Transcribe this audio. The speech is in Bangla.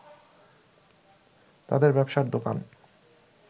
তাদের ব্যবসার দোকান